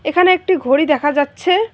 এখানে একটি ঘড়ি দেখা যাচ্ছে।